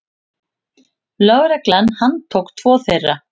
Lögregla handtók tvo þeirra.